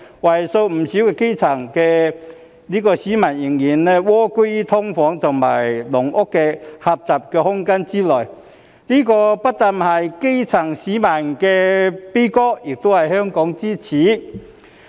為數不少的基層市民仍蝸居在"劏房"、"籠屋"的狹小空間之內，這不單是基層市民的悲歌，亦是香港之耻。